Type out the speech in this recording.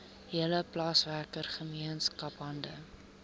hele plaaswerkergemeenskap hande